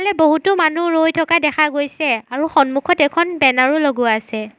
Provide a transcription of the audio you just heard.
ইয়াতে বহুতো মানুহ ৰৈ থকা দেখা গৈছে আৰু সন্মুখত এখন বেনাৰ ও লগোৱা আছে।